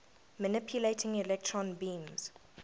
manipulating electron beams